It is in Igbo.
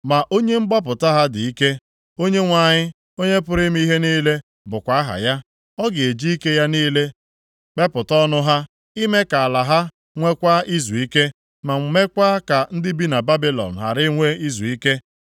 Ma Onye mgbapụta ha dị ike. Onyenwe anyị, Onye pụrụ ime ihe niile bụkwa aha ya. Ọ ga-eji ike ya niile kpepụta ọnụ ha, ime ka ala ha nweekwa izuike, ma meekwa ka ndị bi na Babilọn ghara inwe izuike.